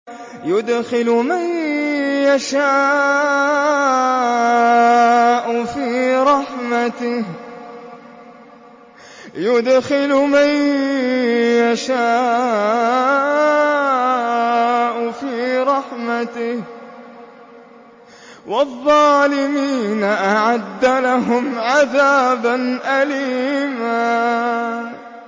يُدْخِلُ مَن يَشَاءُ فِي رَحْمَتِهِ ۚ وَالظَّالِمِينَ أَعَدَّ لَهُمْ عَذَابًا أَلِيمًا